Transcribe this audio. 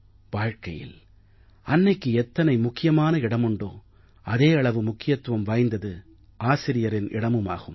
வாழ்க்கையில் அன்னைக்கு எத்தனை முக்கியமான இடமுண்டோ அதே அளவு முக்கியத்துவம் வாய்ந்தது ஆசிரியரின் இடமுமாகும்